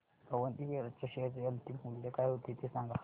Avanti feeds च्या share चे अंतिम मूल्य काय होते ते सांगा